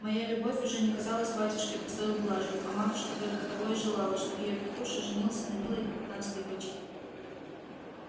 моя любовь уже не казалась батюшке пустою блажью а матушка только того и желала чтоб её петруша женился на милой капитанской дочке